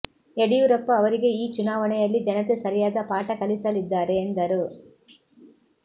ಯಡಿಯೂರಪ್ಪ ಅವರಿಗೆ ಈ ಚುನಾವಣೆಯಲ್ಲಿ ಜನತೆ ಸರಿಯಾದ ಪಾಠ ಕಲಿಸಲಿದ್ದಾರೆ ಎಂದರು